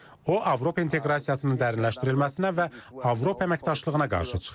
O Avropa inteqrasiyasının dərinləşdirilməsinə və Avropa əməkdaşlığına qarşı çıxır.